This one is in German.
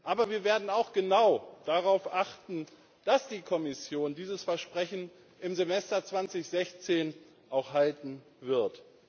Aber wir werden auch genau darauf achten, dass die Kommission dieses Versprechen im Semester 2016 auch halten wird.